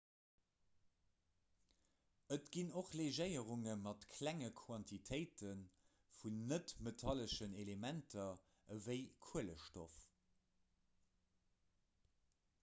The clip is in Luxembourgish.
et ginn och legéierunge mat klenge quantitéite vun net-metalleschen elementer ewéi kuelestoff